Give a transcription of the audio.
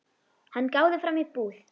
Hann gáði fram í búð.